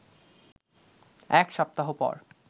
এক সপ্তাহ পর